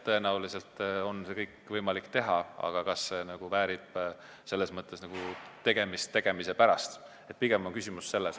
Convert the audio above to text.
Tõenäoliselt on seda kõike võimalik teha, aga kas see väärib tegemist tegemise pärast – pigem on küsimus selles.